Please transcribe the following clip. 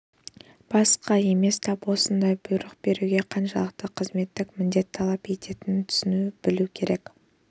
басқа емес тап осындай бұйрық беруге қаншалықты қызметтік міндет талап ететінін түсіне білу керек